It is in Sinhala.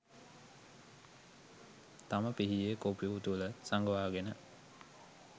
තම පිහියේ කොපුව තුළ සඟවාගෙන